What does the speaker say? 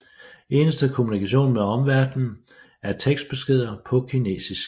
Eneste kommunikation med omverden er tekstbeskeder på kinesisk